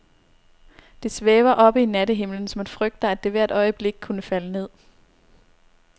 Det svæver oppe i nattehimlen, så man frygter, at det hvert øjeblik kunne falde ned.